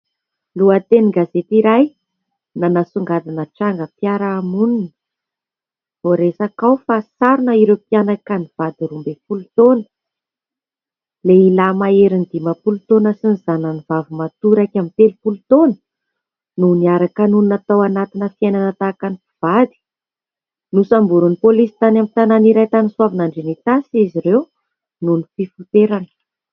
Lohatenin-gazety iray nanasongadina trangam- piarahamonina. Voaresaka ao fa sarona ireo mpianaka nivady roa ambin'ny folo taona; lehilahy maherin'ny dimapolo taona sy ny zanany vavimatoa iraika amby telopolo toana no niaraka nonina tao anatin'ny fiainana tahaka ny mpivady. Nosamborin'ny polisy tany amin'ny tanàna iray tany Soavinandriana Itasy izy ireo nohon' ny fifoterany.